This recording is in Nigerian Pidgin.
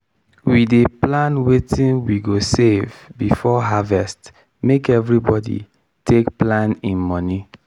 we dey plan wetin we go save before harvest make evribody take plan hin mony.